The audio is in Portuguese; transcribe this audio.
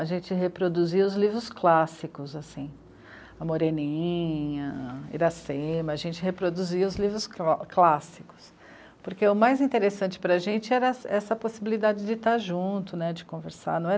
A gente reproduzia os livros clássicos, assim, a Moreninha, Irassema, a gente reproduzia os livros clássicos, porque o mais interessante para a gente era essa possibilidade de estar junto né, de conversar.